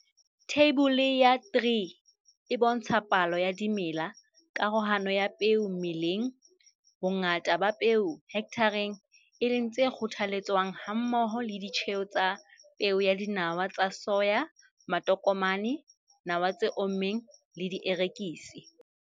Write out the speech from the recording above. Theibole ya 3 e bontsha palo ya dimela, karohano ya peo meleng, bongata ba peo hekthareng, e leng tse kgothaletswang, hammoho le ditjheo tsa peo ya dinawa tsa soya, matokomane, nawa tse ommeng le dierekisi.